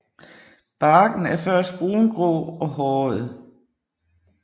Barken er først brungrå og håret